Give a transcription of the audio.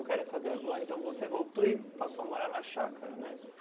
Eu quero saber agora, então você voltou e passou a morar na chácara, né?